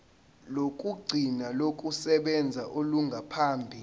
lokugcina lokusebenza olungaphambi